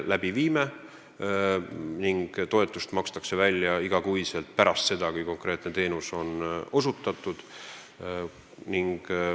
Igakuine toetus makstakse välja pärast seda, kui konkreetne teenus on osutatud.